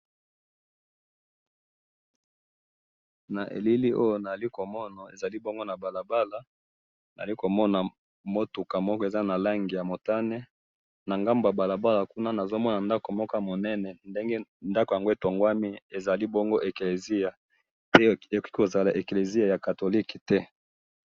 Na elili oyo nazali ko mona ezali bongo na balabala nazali komona mutuka moko eza na langi ya motane na ngambo ya balabala kuna nazo mona ndako moko ya monene , ndenge ndako yango etongwami ezali bongo eklezia pe ekoki kozala eklezia ya Catholique té